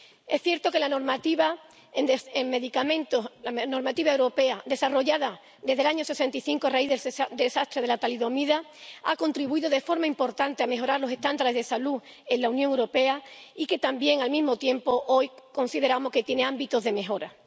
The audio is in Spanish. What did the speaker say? Es cierto que la normativa europea en medicamentos desarrollada desde el año 1965, a raíz del desastre de la talidomida, ha contribuido de forma importante a la mejora de los estándares de salud en la Unión Europea y que también, al mismo tiempo, hoy consideramos que tiene ámbitos de mejora.